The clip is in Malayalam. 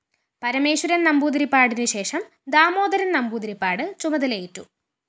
പരമേശ്വരന്‍ നമ്പൂതിരിപ്പാടിനുശേഷം ദാമോദരന്‍ നമ്പൂതിരിപ്പാട് ചുമതലയേറ്റു